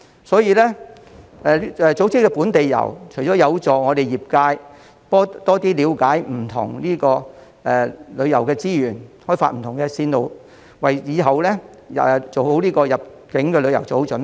所以，組織本地遊不但市民得益，亦有助業界增加了解香港不同的旅遊資源，開發不同的線路，為日後的入境旅遊做好準備。